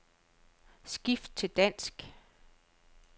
Skift til dansk.